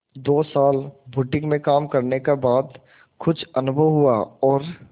दो साल बुटीक में काम करने का बाद कुछ अनुभव हुआ और